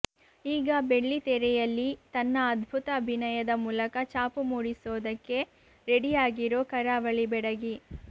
ಈಗ ಬೆಳ್ಳಿತೆರೆಯಲ್ಲಿ ತನ್ನ ಅದ್ಭುತ ಅಭಿನಯದ ಮೂಲಕ ಚಾಪು ಮೂಡಿಸೋದಿಕ್ಕೆ ರೆಡಿಯಾಗಿರೋ ಕರಾವಳಿ ಬೆಡಗಿ